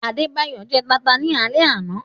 Adebayọ jẹ́ tànta ni àle àná